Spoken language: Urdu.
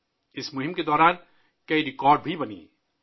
اس مہم کے دوران کئی ریکارڈز بھی بنائے گئے